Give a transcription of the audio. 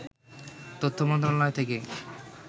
তথ্য মন্ত্রণালয় থেকে